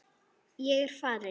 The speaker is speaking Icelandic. Ég er farinn.